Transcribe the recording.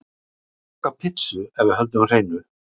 Ég vil borga pizzu ef við höldum hreinu.